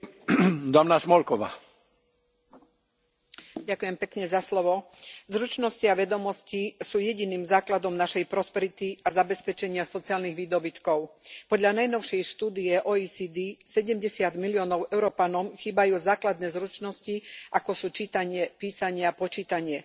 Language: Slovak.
Vážený pán predsedajúci, zručnosti a vedomosti sú jediným základom našej prosperity a zabezpečenia sociálnych výdobytkov. Podľa najnovšej štúdie OECD 70 miliónov Európanom chýbajú základné zručnosti, ako sú čítanie, písanie a počítanie.